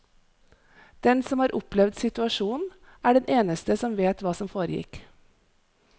Den som har opplevd situasjonen, er den eneste som vet hva som foregikk.